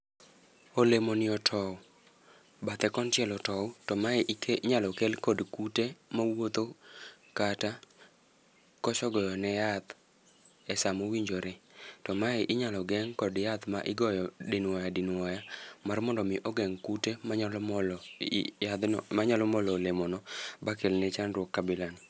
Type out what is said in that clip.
Olemoni otow, bathe konchiel otow. To mae inyalo kel kod kute mawuotho, kata koso goyone yath e sama owinjore. To mae inyalo geng' kod yath ma igoyo dinwoya dinwoya mar mondo mi ogeng' kute manyalo molo yadhno, manyalo molo olemono ma kelne chandruok kabila no.